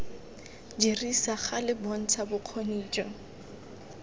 dirisa gale bontsha bokgoni jo